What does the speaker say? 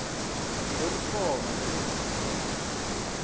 lokuthoma lezamaphilo namkha